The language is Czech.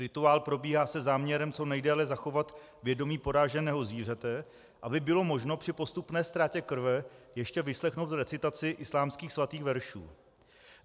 Rituál probíhá se záměrem co nejdéle zachovat vědomí poráženého zvířete, aby bylo možno při postupné ztrátě krve ještě vyslechnout recitaci islámských svatých veršů.